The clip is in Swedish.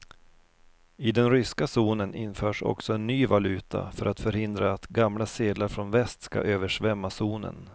I den ryska zonen införs också en ny valuta för att förhindra att gamla sedlar från väst skall översvämma zonen.